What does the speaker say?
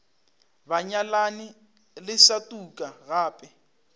banyalani le sa tuka gape